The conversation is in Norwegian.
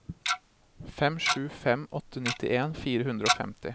fem sju fem åtte nittien fire hundre og femti